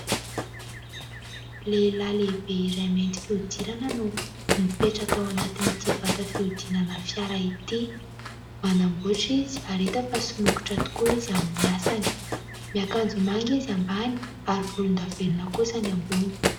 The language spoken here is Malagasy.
Lehilahy lehibe iray mainty fihodirana no mipetraka ao anatin'ity vata fiodinana fiara ity. Manambotra izy ary hita fa somokotra tokoa izy amin'ny asany. Miakanjo manga izy ambany ary volondavenona kosa ny ambony.